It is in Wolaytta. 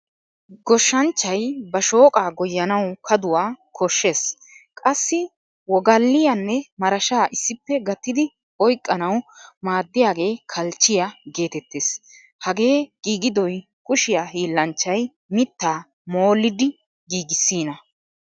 Goshshanchchay ba shooqa goyanawu kaduwaa koshshees. Qassi wogaliyanne marashshaa issippe gattidi oyqqanawu maaddiyaage kalchchiyaa geetettees. Hagee giigidoy kushiyaa hiillanchchay mitta mollidi giigisina.